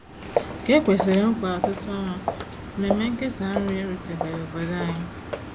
Ka e kwesịrị nkwa ọtụtụ ọnwa, mmemme nkesa nri erutebeghị obodo anyị.